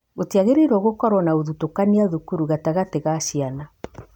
Gũtiagĩrĩire gũkorwo na ũthutũkania thukuru gatagatĩ ga ciana